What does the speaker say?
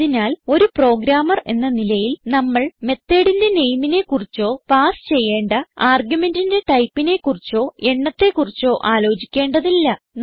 അതിനാൽ ഒരു പ്രോഗ്രാമർ എന്ന നിലയിൽ നമ്മൾ methodന്റെ നെയിമിനെ കുറിച്ചോ പാസ് ചെയ്യേണ്ട argumentന്റെ ടൈപ്പിനെ കുറിച്ചോ എണ്ണത്തെ കുറിച്ചോ ആലോചിക്കേണ്ടതില്ല